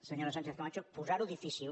senyora sánchez camacho posar ho difícil